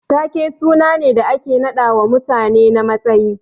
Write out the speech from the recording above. Ta ke sunane da ake naɗawa mutane na matsayi.